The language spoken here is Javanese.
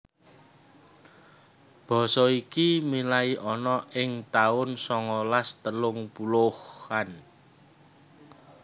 Basa iki milai ana ing taun songolas telung puluhan